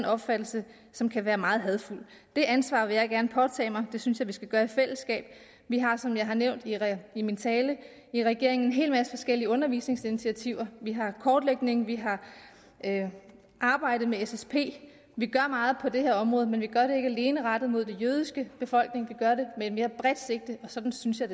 opfattelse som kan være meget hadefuld det ansvar vil jeg gerne påtage mig og det synes jeg vi skal gøre i fællesskab vi har som jeg har nævnt i min tale i regeringen en hel masse forskellige undervisningsinitiativer vi har kortlægning vi har arbejdet med ssp vi gør meget på det her område men vi gør alene rettet mod den jødiske befolkning vi gør det med et mere bredt sigte og sådan synes jeg